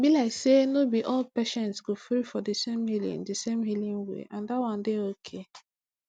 e be like say no be all patients go gree for di same healing di same healing way and dat wan dey okay